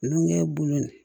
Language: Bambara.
Numukɛ bolo in